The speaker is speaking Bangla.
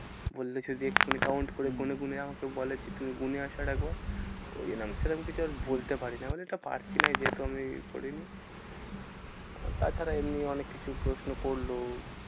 বললে যদি এক্ষুনি count হম হম করে গুনে গুনে আমাকে বলে যে তুমি গুনে আসো আরেকবার। ওই জন্য সেরম কিছু আর বলতে পারিনি। আমি বললাম এটা পারছিনা যেহেতু আমি পড়িনি আর তাছাড়া এমনি অনেক কিছু প্রশ্ন করলো